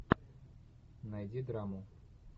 найди драму